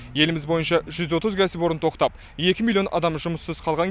еліміз бойынша жүз отыз кәсіпорын тоқтап екі миллион адам жұмыссыз қалған